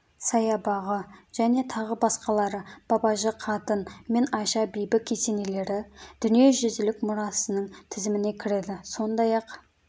саябағы және тағы басқалары бабажы қатын мен айша бибі кесенелері дүниежүзілік мұрасының тізіміне кіреді сондай-ақ